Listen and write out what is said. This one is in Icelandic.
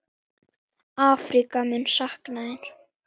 Afríka mun sakna þín.